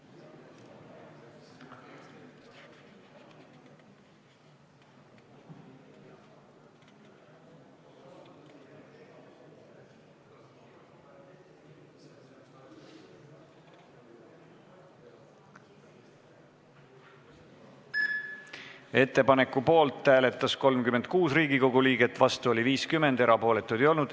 Hääletustulemused Ettepaneku poolt hääletas 36 Riigikogu liiget, vastu oli 50, erapooletuid ei olnud.